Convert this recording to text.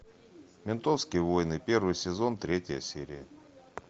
ментовские войны первый сезон третья серия